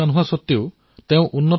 ইছমাইল ভায়ে খেতি কৰিবলৈ বিচাৰিছিল